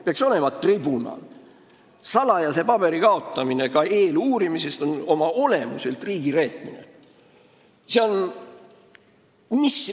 Ka eeluurimise ajal salajase paberi kaotamine on oma olemuselt riigi reetmine.